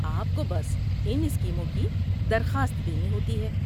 آپ کو بس ان اسکیموں کی درخواست دینی ہوتی ہے۔